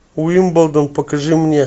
уимблдон покажи мне